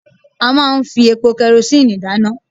A máa ń fi epo kerosíǹnì dáná